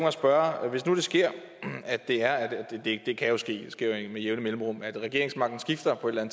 at spørge hvis nu det sker det det kan jo ske det sker jo med jævne mellemrum at regeringsmagten skifter på et eller